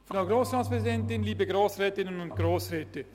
Ich danke für die positive Aufnahme des Berichts.